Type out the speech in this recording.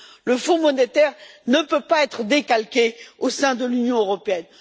Le fonds monétaire ne peut pas être décalqué au sein de l'Union européenne.